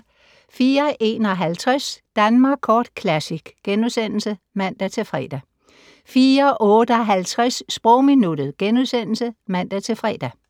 04:51: Danmark Kort Classic *(man-fre) 04:58: Sprogminuttet *(man-fre)